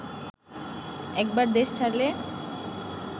একবার দেশ ছাড়লে